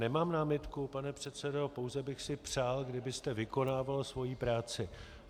Nemám námitku, pane předsedo, pouze bych si přál, kdybyste vykonával svoji práci.